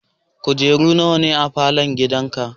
Kujeru nawa ne a falon gidanka?